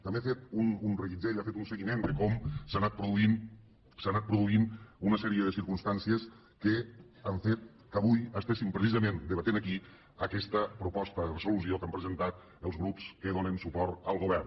també ha fet un reguitzell ha fet un seguiment de com s’ha anant produint una sèrie de circumstàncies que han fet que avui estiguéssem precisament debatent aquí aquesta proposta de resolució que han presentat els grups que donen suport al govern